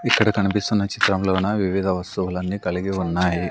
ఇక్కడ కనిపిస్తున్న చిత్రంలోన వివిధ వస్తువులన్నీ కలిగి ఉన్నాయి.